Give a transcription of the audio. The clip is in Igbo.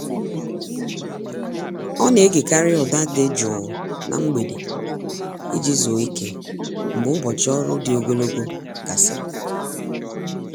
Ọ na-egekarị ụda dị jụụ na mgbede iji zuoo ike, mgbe ụbọchị ọrụ dị ogologo gasịrị.